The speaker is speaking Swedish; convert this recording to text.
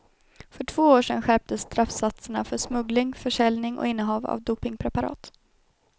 För två år sen skärptes straffsatserna för smuggling, försäljning och innehav av dopingpreparat.